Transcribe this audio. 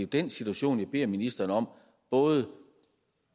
den situation jeg beder ministeren om både